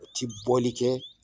O ti bɔli kɛ